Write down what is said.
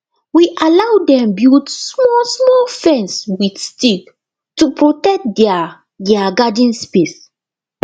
we allow dem build smallsmall fence with stick to protect their their garden space